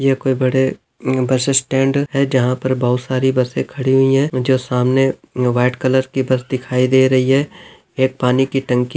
यहाँ कोई बड़ा बस स्टैंड है जहां पर बहुत सारी बसे से खड़ी हुई है जो सामने व्हाइट कलर की बस दिखाई दे रही है एक पानी की टंकी --